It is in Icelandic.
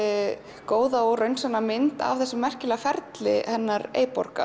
upp góða og raunsanna mynd af þessum merkilega ferli hennar